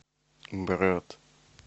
брат